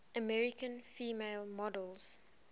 american female models